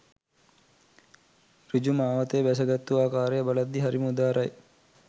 ඍජු මාවතේ බැසගත්තු ආකාරය බලද්දී හරිම උදාරයි